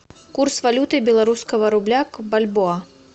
курс валюты белорусского рубля к бальбоа